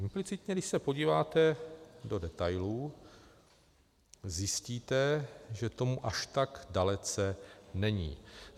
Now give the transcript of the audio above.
Duplicitně, když se podíváte do detailů, zjistíte, že tomu až tak dalece není.